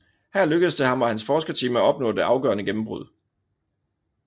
Her lykkedes det ham og hans forskerteam at opnå det afgørende gennembrud